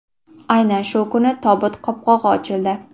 Aynan shu kuni tobut qopqog‘i ochildi.